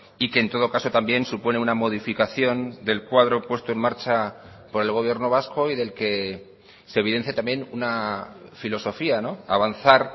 y que en todo caso también supone una modificación del cuadro puesto en marcha por el gobierno vasco y del que se evidencia también una filosofía avanzar